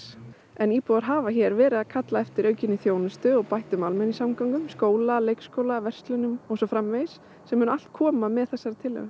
en íbúar hafa hér verið að kalla eftir aukinni þjónustu og bættum almenningssamgöngum skóla leikskóla verslunum og svo framvegis sem mun allt koma með þessari tillögu